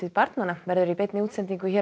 barnanna verður í beinni útsendingu hér á